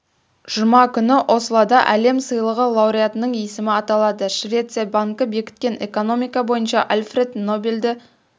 жұма күні ослода әлем сыйлығы лауреатының есімі аталады швеция банкі бекіткен экономика бойынша альфред нобельді